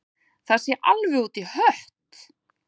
Það sé alveg út í hött